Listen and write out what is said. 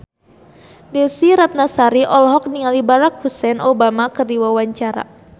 Desy Ratnasari olohok ningali Barack Hussein Obama keur diwawancara